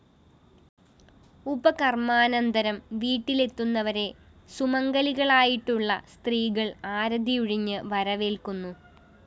ഉപാകര്‍മ്മാനന്തരം വീട്ടിലെത്തുന്നവരെ സുമംഗലികളായിട്ടുള്ള സ്ത്രീകള്‍ ആരതിയുഴിഞ്ഞ് വരവേല്‍ക്കുന്നു